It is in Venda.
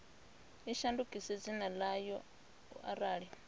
i shandukise dzina ḽayo arali